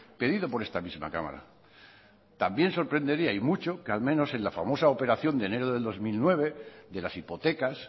pedido por esta misma cámara también sorprendería y mucho que al menos en la famosa operación de enero de dos mil nueve de las hipotecas